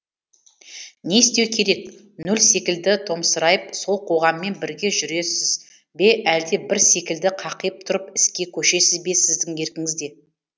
не істеу керек нөл секілді томсырайып сол қоғаммен бірге жүресіз бе әлде бір секілді қақиып тұрып іске көшесіз бе сіздің еркіңізде